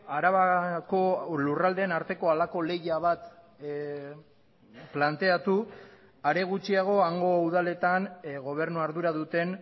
arabako lurraldeen arteko halako lehia bat planteatu are gutxiago hango udaletan gobernu ardura duten